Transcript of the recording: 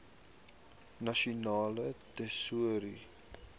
nasionale tesourie